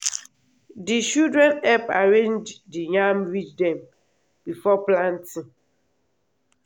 di children help arrange di yam ridge dem before planting.